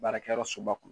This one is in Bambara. Baarakɛyɔrɔ soba kɔnɔ